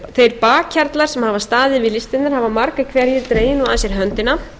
þeir bakhjarlar sem hafa staðið við listgreinar hafa margir hverjir dregið nú að sér höndina